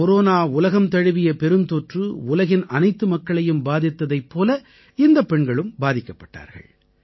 corona உலகம் தழுவிய பெருந்தொற்று உலகின் அனைத்து மக்களையும் பாதித்ததைப் போல இந்தப் பெண்களும் பாதிக்கப்பட்டார்கள்